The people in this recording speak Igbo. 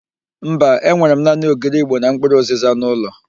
Mba, enwere m naanị ogiri ịgbo na mpkụrụ ụzịza n'ụlọ.